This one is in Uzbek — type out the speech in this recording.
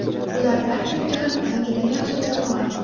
Ular taktik jihatdan juda yaxshi jamoa.